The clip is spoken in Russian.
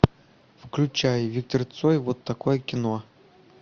включай виктор цой вот такое кино